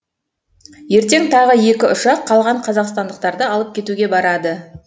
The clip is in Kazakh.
ертең тағы екі ұшақ қалған қазақстандықтарды алып кетуге барады